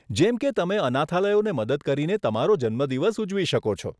જેમ કે તમે અનાથાલયોને મદદ કરીને તમારો જન્મદિવસ ઉજવી શકો છો.